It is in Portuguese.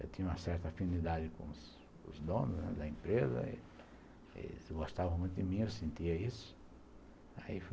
Eu tinha uma certa afinidade com os donos da empresa, eles gostavam muito de mim, eu sentia isso, aí fui